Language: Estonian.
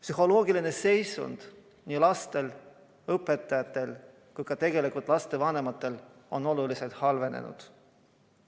Psühholoogiline seisund on nii lastel, õpetajatel kui ka tegelikult lastevanematel oluliselt halvenenud.